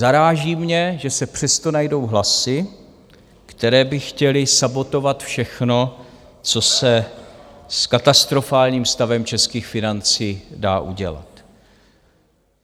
Zaráží mě, že se přesto najdou hlasy, které by chtěly sabotovat všechno, co se s katastrofálním stavem českých financí dá udělat.